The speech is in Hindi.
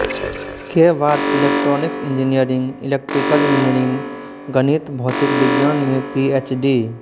के बाद इलैक्ट्रॉनिक्स इंजीनियरिंग इलैक्ट्रिकल इंजीनियरिंग गणित भौतिक विज्ञान में पी एच डी